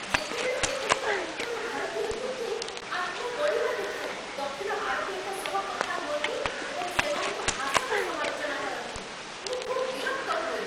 ଯେତେବେଳେ କେତେକ ଉତ୍ତର ଭାରତୀୟ ଲୋକେ ଆତ୍ମବଡ଼ିମା ଦେଖାଇ ଦକ୍ଷିଣ ଭାରତୀୟଙ୍କ ସହ କଥା ହୁଅନ୍ତି ଏବଂ ସେମାନଙ୍କ ଭାଷାକୁ ସମାଲୋଚନା କରନ୍ତି, ମୁଁ ଖୁବ୍ ବିରକ୍ତ ହୁଏ।